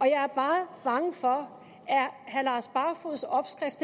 jeg er bare bange for herre lars barfoeds opskrift